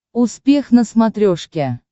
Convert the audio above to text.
успех на смотрешке